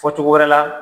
Fɔ cogo wɛrɛ la